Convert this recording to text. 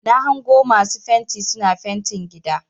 Na hango masu fenti suna fentin gida.